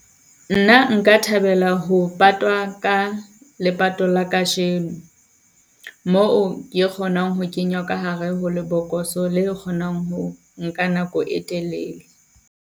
Nna nka thabela ho patwa ka lepato la kajeno, moo ke kgonang ho kenywa ka hare ho lebokoso le kgonang ho nka nako e telele.